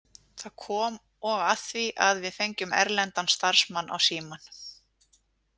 Það kom og að því að við fengjum erlendan starfsmann á Símann.